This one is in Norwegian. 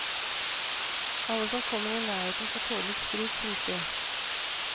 Alle som kommer i nærheten får tåle litt sprut, synes de.